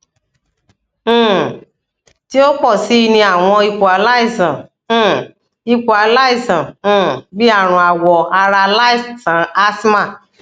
um ti o pọ si ni awọn ipo alaisan um ipo alaisan um bii arun awọ ara alaisan asthma